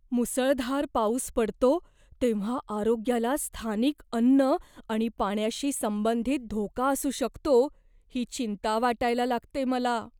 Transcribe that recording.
मुसळधार पाऊस पडतो तेव्हा आरोग्याला स्थानिक अन्न आणि पाण्याशी संबंधित धोका असू शकतो ही चिंता वाटायला लागते मला.